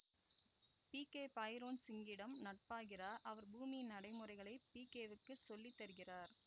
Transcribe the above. PK Bhairon சிங்கிடம் நட்பாகிறார் அவர் பூமியின் நடைமுறைகளை பிகேவுக்கு சொல்லித்தருகிறார்